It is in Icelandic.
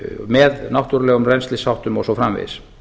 með náttúrulegum rennslisháttum og svo framvegis